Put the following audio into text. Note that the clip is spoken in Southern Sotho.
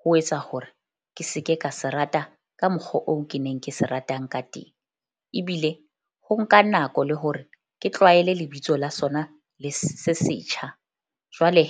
ho etsa hore ke se ke ka se rata ka mokgwa oo ke neng ke se ratang ka teng. Ebile ho nka nako le hore ke tlwaele lebitso la sona le se setjha. Jwale